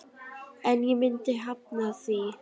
En ég myndi hafna því.